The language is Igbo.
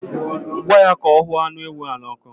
Gwa ya ka ọ huọ anụ ewu ahụ n'ọkụ.